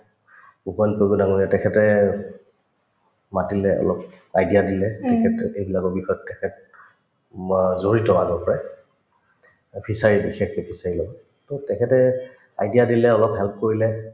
উপেন ডাঙৰীয়া তেখেতে মাতিলে অলপ idea দিলে তেখেতো এইবিলাকৰ বিষয়ত তেখেত ম জড়িত আগৰ পৰাই অ fishery ত বিশেষকে fishery ৰ লগত to তেখেতে idea দিলে অলপ help কৰিলে